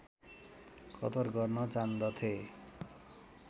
कदर गर्न जान्दथे